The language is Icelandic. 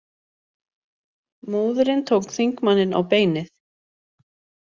Móðirin tók þingmanninn á beinið